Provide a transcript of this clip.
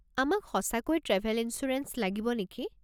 আমাক সঁচাকৈ travel insurance লাগিব নেকি?